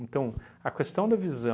Então, a questão da visão